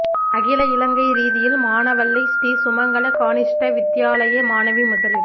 அகில இலங்கை ரீதியில் மாவனல்லை ஶ்ரீ சுமங்கள கனிஷ்ட வித்தியாலய மாணவி முதலிடம்